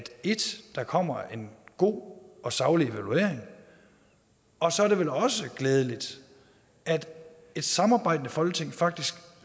der kommer en god og saglig evaluering og så er det vel også glædeligt at et samarbejdende folketing faktisk